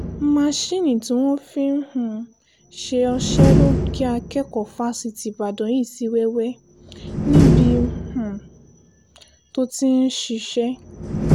masinni tí wọ́n fi ń um ṣe ọṣẹ ló gé akẹ́kọ̀ọ́ fásitì ìbàdàn yìí sí wẹ́wẹ́ níbi um tó ti ń ṣiṣẹ́